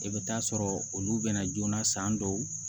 I bɛ taa sɔrɔ olu bɛna joona san dɔw